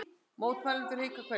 Mótmælendur hvika hvergi